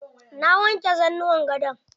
Na wanke zanuwan gadon.